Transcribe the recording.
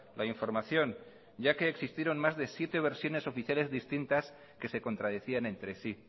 la información ya que existieron más de siete versiones oficiales distintas que se contradecían entre sí